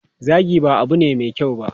Zagi ba abu ne mai kyau ba.